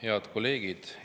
Head kolleegid!